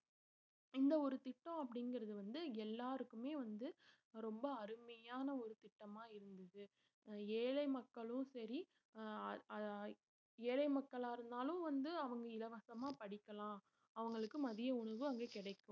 இந்த ஒரு திட்டம் அப்படிங்கறது வந்து எல்லாருக்குமே வந்து ரொம்ப அருமையான ஒரு திட்டமா இருந்தது ஏழை மக்களும் சரி ஆஹ் அஹ் ஏழை மக்களா இருந்தாலும் வந்து அவங்க இலவசமா படிக்கலாம் அவங்களுக்கு மதிய உணவு அங்கே கிடைக்கும்.